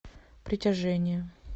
притяжение